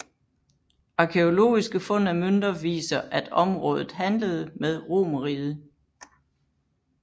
Arkæologiske fund af mønter viser at området handlede med Romerriget